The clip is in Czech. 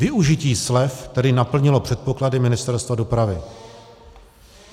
Využití slev tedy naplnilo předpoklady Ministerstva dopravy.